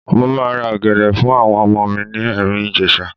Mo máa ra ọ̀gẹ̀dẹ̀ fún àwọn ọmọ mi ní Ẹ̀rìn-Ìjèṣa.